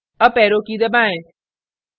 up arrow की दबाएं